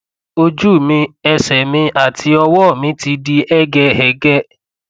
ojú mi ẹsẹ mi àti ọwọ mi ti di hẹgẹhẹgẹ